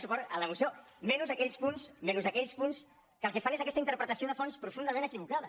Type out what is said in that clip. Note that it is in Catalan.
suport a la moció menys a aquells punts que el que fan és aquesta interpretació de fons profundament equivocada